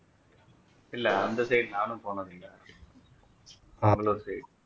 இல்ல அந்த நானும் போனது இல்ல side